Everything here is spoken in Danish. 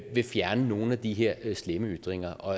vil fjerne nogle af de her slemme ytringer og